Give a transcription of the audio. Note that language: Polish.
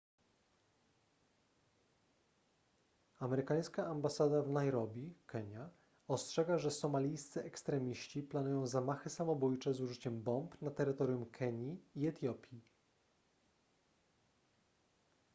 amerykańska ambasada w nairobi kenia ostrzega że somalijscy ekstremiści” planują zamachy samobójcze z użyciem bomb na terytorium kenii i etiopii